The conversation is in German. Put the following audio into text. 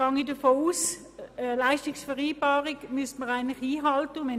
Ich gehe davon aus, dass eine Leistungsvereinbarung grundsätzlich einzuhalten ist.